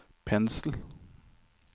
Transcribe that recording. pensel